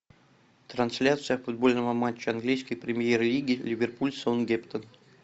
трансляция футбольного матча английской премьер лиги ливерпуль саутгемптон